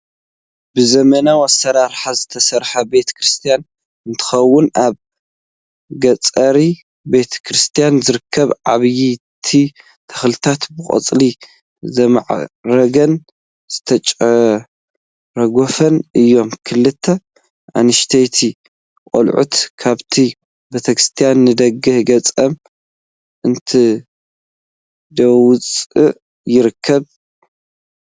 ብዘመናዊ ኣሰራርሓ ዝተሰርሐ ቤተ ክርስትያ እንትኸውን ኣብ ገፅሪ ቤተ ክርስትያን ዝርከቡ ዓበይቲ ተክልታት ብቆፅሊ ዘይማዕረጉን ዝተጨራገፉን እዮም፡፡ ክልተ ኣንኣሽተይ ቆልዑት ካብቲ ቤተክርስትያን ንደገ ገፆም እንዳወፁ ይርከቡ፡፡